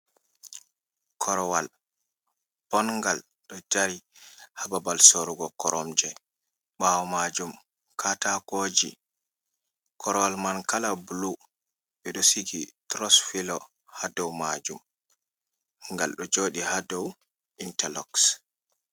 Korwal, bonngal, ɗo dari ha babal sorrugo koromje. Ɓaawo maajum kaataakooji, korwal man kala bulu, ɓe ɗo sigi turos pilo, ha dow maajum. Gal ɗo jooɗi ha dow intaloks.